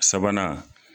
Sabanan